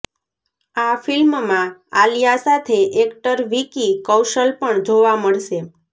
આ ફિલ્મમાં આલિયા સાથે એક્ટર વિકી કૌશલ પણ જોવા મળશે